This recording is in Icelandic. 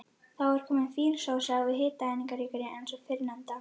Þá er komin fín sósa en hitaeiningaríkari en sú fyrrnefnda.